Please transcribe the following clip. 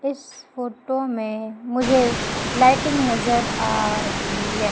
इस फोटो में मुझे लाइटिंग नजर आ रही है।